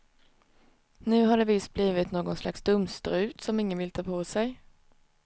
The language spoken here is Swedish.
Nu har det visst blivit någon slags dumstrut som ingen vill ta på sig.